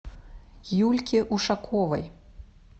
юльке ушаковой